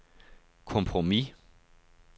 kompromis